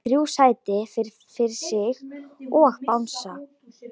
Hefur þrjú sæti fyrir sig og bangsa.